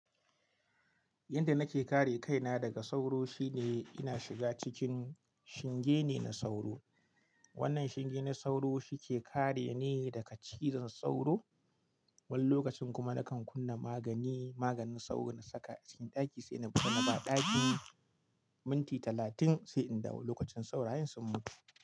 Yanda nake kare kaina daga sauro shine ina shiga cikin shinge ne na sauro. Wannan shinge na sauro shi ke kare ni daga cizon sauro. Wani lokacin kuma nakan kunna magani, maganin sauro na saka a cikin ɗaki sai na buga na ba ɗakin minti talatin sai in dawo. Lokacin saurayen sun mutu.